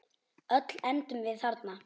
Öll endum við þarna.